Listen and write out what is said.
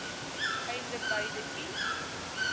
einde beide i